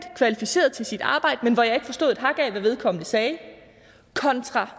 kvalificeret til sit arbejde men hvor jeg ikke forstod et hak af hvad vedkommende sagde kontra